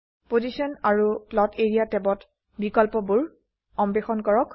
position আৰু plot area ট্যাবত বিকল্পবোৰ অন্বেষণ কৰক